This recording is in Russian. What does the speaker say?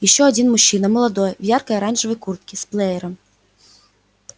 ещё один мужчина молодой в яркой оранжевой куртке с плеером